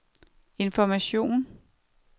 information